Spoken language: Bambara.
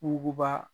Muguba